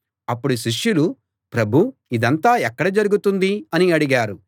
అప్పుడు శిష్యులు ప్రభూ ఇదంతా ఎక్కడ జరుగుతుంది అని అడిగారు